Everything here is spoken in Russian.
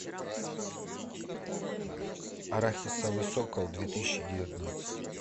арахисовый сокол две тысячи девятнадцать